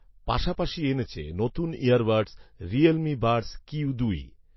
পাশাপাশি এনেছে নতুন ইয়ারবাডস 'রিয়েলমি বাডস কিউ দুই'